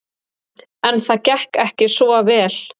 En það gekk ekki svo vel.